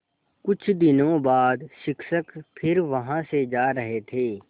कुछ दिनों बाद शिक्षक फिर वहाँ से जा रहे थे